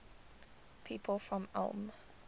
people from ulm